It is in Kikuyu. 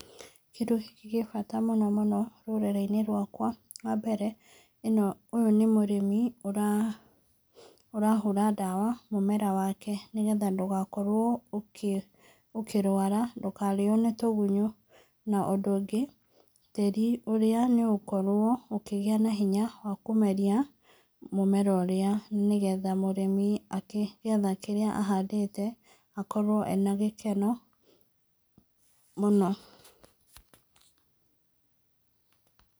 Kĩndũ gĩkĩ gĩ bata mũno rũrĩrĩinĩ rwakwa, wa mbere, ũyũ nĩ mũrĩmi ũrahũra dawa mũmera wake nĩgetha ndũgakorwo ũkĩrwara, ndũkarĩo nĩ tũgunyũ, na ũndũ ũngĩ, tĩri ũrĩa nĩ ũgũkorwo ũkĩgĩa na hinya wa kũmeria mũmera ũrĩa nĩgetha mũrĩmi akĩgetha kĩrĩa ahandĩte akorwo ena gĩkeno muno.